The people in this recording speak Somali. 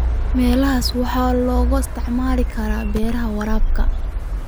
Meelahaas waxaa loo isticmaali karaa beeraha waraabka.